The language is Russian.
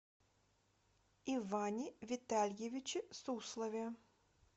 иване витальевиче суслове